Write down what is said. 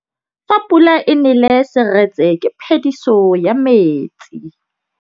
Fa pula e nelê serêtsê ke phêdisô ya metsi.